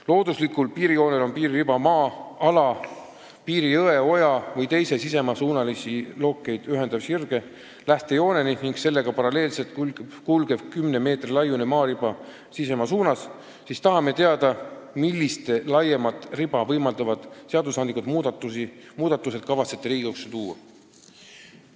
Looduslikul piirijoonel on piiririba maa-ala piirijõe, -oja või -tee sisemaa suunalisi lookeid ühendava sirge lähtejooneni ning sellega paralleelselt kulgev kümne meetri laiune maariba sisemaa suunas.", siis tahame teada, millised laiemat riba võimaldavad seadusandlikud muudatused kavatsete Riigikogu ette tuua.